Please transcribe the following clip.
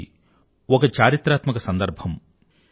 ఇది ఒక చారిత్రాత్మిక సందర్భం